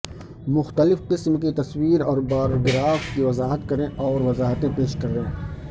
مختلف قسم کی تصویر اور بار گراف کی وضاحت کریں اور وضاحتیں پیش کریں